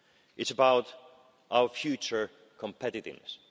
It's about our future competitiveness.